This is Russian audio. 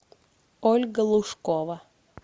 ольга лушкова